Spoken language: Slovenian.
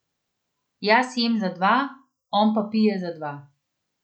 Jaz jem za dva, on pa pije za dva.